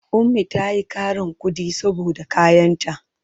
Ummi ta yi ƙarin kuɗi saboda kayanta.